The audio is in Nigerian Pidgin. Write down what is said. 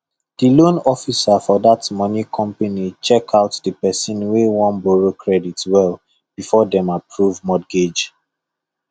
the loan officer for that money company check out the person wey wan borrow credit well before dem approve mortgage